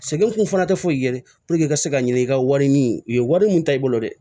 Sɛgɛn kun fana tɛ foyi ye i ka se ka ɲini i ka wari ɲini u ye wari mun ta i bolo dɛ